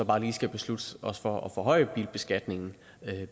bare lige skal beslutte os for at forhøje bilbeskatningen